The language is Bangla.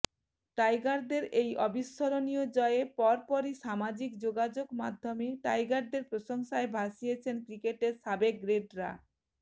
টাইগারদের এই অবিস্মরণীয় জয়ে পরপরই সামাজিক যোগাযোগ মাধ্যমে টাইগারদের প্রশংসায় ভাসিয়েছেন ক্রিকেটের সাবেক গ্রেটরা